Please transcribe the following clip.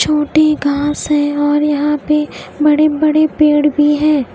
छोटी घास है और यहा पे बड़े बड़े पेड़ भी है।